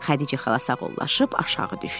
Xədicə xala sağollaşıb aşağı düşdü.